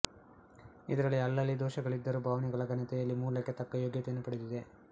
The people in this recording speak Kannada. ಇದರಲ್ಲಿ ಅಲ್ಲಲ್ಲಿ ದೋಷಗಳಿದ್ದರೂ ಭಾವನೆಗಳ ಘನತೆಯಲ್ಲಿ ಮೂಲಕ್ಕೆ ತಕ್ಕ ಯೋಗ್ಯತೆಯನ್ನು ಪಡೆದಿದೆ